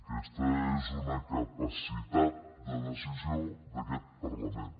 aquesta és una capacitat de decisió d’aquest parlament